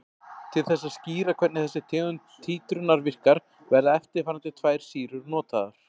Til þess að skýra hvernig þessi tegund títrunar virkar verða eftirfarandi tvær sýrur notaðar.